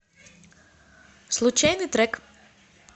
случайный трек